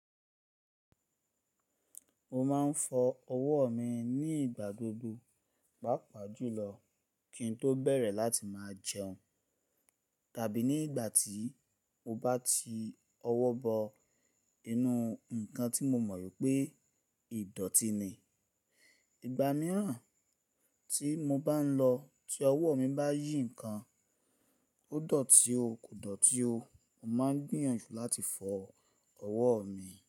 Mo máa ń fọ ọwọ́ mi ní ìgbà gbogbo, pàápàá jùlọ kí n tó bẹ̀rẹ̀ láti máa jẹun, tàbí ní ìgbà tí mo bá ti ọwọ́ bọ inú ǹnkan tí mo mọ̀ pé ìdọ̀tí ni. Ìgbà mìíràn tí mo bá ń lọ tí ọwọ́ mi bá yí ǹnkan, ó dọ̀tí o kò dọ̀tí o, mo máa ń gbìyànjú láti fọ ọwọ́ mi.